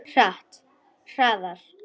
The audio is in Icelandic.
Hratt, hraðar.